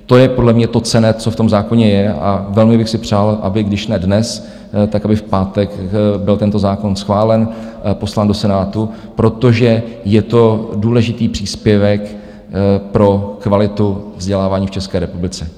To je podle mě to cenné, co v tom zákoně je, a velmi bych si přál, aby když ne dnes, tak aby v pátek byl tento zákon schválen, poslán do Senátu, protože je to důležitý příspěvek pro kvalitu vzdělávání v České republice.